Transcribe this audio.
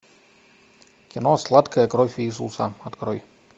кино сладкая кровь иисуса открой